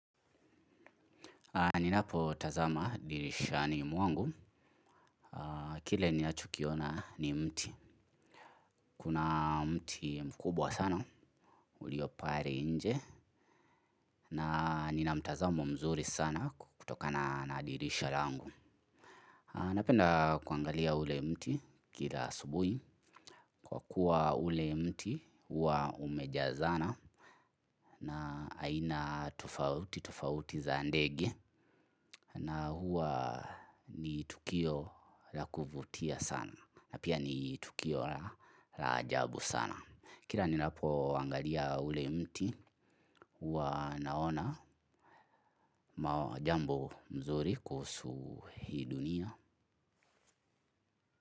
Ninapo tazama dirishani mwangu. Kile ninachokiona ni mti. Kuna mti mkubwa sana. Ulio pale nje. Na nina mtazamo mzuri sana kutokana na dirisha langu. Napenda kuangalia ule mti kila asubuhi kwa kuwa ule mti huwa umejazana na aina tofauti tofauti za ndege na huwa ni tukio la kuvutia sana na pia ni tukio la ajabu sana. Kila ninapo angalia ule mti huwa naona jambo nzuri kuhusu hii dunia.